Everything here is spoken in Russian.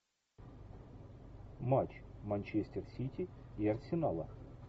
матч манчестер сити и арсенала